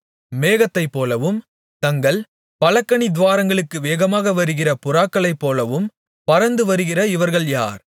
மேகத்தைப்போலவும் தங்கள் பலகணித்துவாரங்களுக்கு வேகமாகவருகிற புறாக்களைப்போலவும் பறந்துவருகிற இவர்கள் யார்